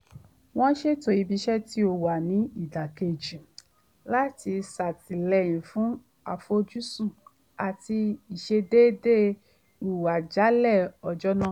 wọ́n ṣètò ibi iṣẹ́ tí ó wà ní ìdàkẹ́jẹ́ láti ṣàtìlẹyìn fún àfojúsùn àti ìṣedéédé ìhùwàsí jálẹ̀ ọjọ́ nàà